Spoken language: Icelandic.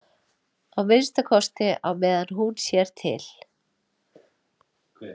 Að minnsta kosti á meðan hún sér til.